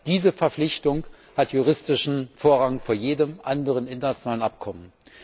Diese Verpflichtung hat juristischen Vorrang vor jedem anderen internationalen Abkommen.